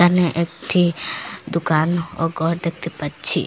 হু একটি দোকান ও ঘর দেখতে পাচ্ছি।